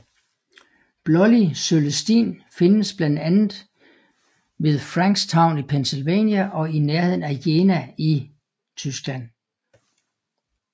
Blålig Cølestin findes blandt andet ved Frankstown i Pennsylvania og i nærheden af Jena i Tyskland